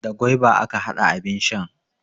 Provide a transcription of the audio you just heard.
Da gwaiba aka hada abin shan.